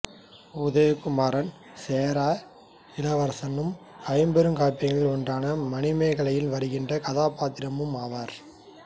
உதயகுமரன் சேர இளவரசனும் ஐம்பெருங் காப்பியங்களில் ஒன்றான மணிமேகலையில் வருகின்ற கதாப்பாத்திரமும் ஆவார்